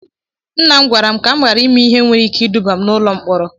Nna m gwaram kam ghara ime ihe nwere ike iduba m n'ụlọ mkpọrọ